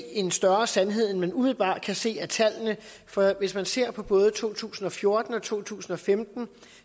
en større sandhed i man umiddelbart kan se for hvis man ser på både to tusind og fjorten og to tusind og femten